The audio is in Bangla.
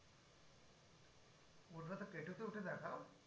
উঠে দেখাও?